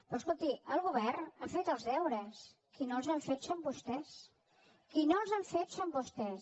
però escolti el govern ha fet els deures qui no els ha fet són vostès qui no els ha fet són vostès